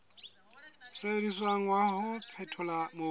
sebediswang wa ho phethola mobu